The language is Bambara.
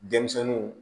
Denmisɛnninw